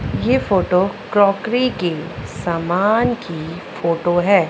ये photo crockery के सामान की फोटो है।